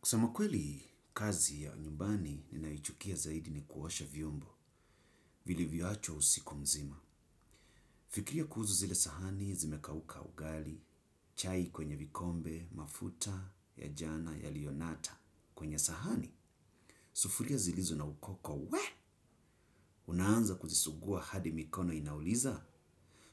Kusema kweli kazi ya unyumbani ninaichukia zaidi ni kuwosha vyombo. Vilivyo achwa usiku mzima. Fikiria kuhuzu zile sahani zimekauka ugali. Chai kwenye vikombe, mafuta, ya jana, yalionata. Kwenye sahani, sufuria zilizo na ukoko. Unaanza kuzisugua hadi mikono inauliza?